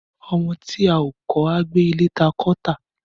Ọmọ ti à ò kọ à gbẹ ìlẹ tà kọ tà.